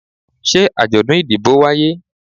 se ajodun idibo waye?